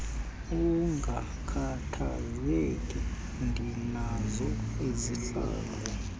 ungakhathazeki ndinazo izihlangu